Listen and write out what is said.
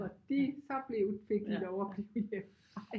De så blev fik de lov at blive hjemme